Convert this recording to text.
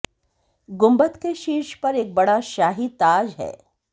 गुंबद के शीर्ष पर एक बड़ा शाही ताज है